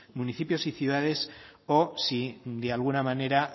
municipios o ciudades o si de alguna manera